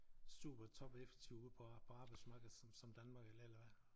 Super topeffektive ude på på arbejdsmarkedet som som Danmark eller eller hvad